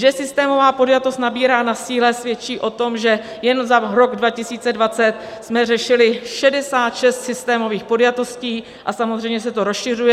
Že systémová podjatost nabírá na síle svědčí o tom, že jen za rok 2020 jsme řešili 66 systémových podjatostí, a samozřejmě se to rozšiřuje.